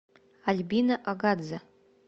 альбина агадзе